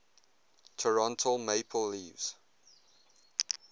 toronto maple leafs